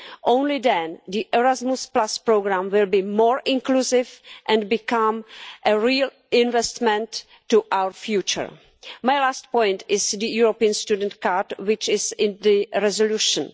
Only then will the Erasmus programme be more inclusive and become a real investment in our future. My last point is on the European Student Card, which is in the resolution.